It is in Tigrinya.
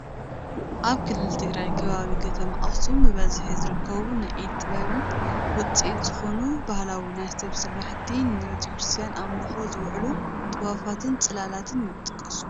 ኣብ ክልል ትግራይ ከባቢ ከተማ ኣክሱም ብበዝሒ ዝርከቡ ናይ ኢደ ጥበባት ውፅኢት ዝኾኑ ባህላው ናይ ስፈ ስራሕቲ፣ ንቤተክርስትያን ኣምልኾ ዝውዕሉ ጥዋፋትን ፅላላትን ይጥቀሱ፡፡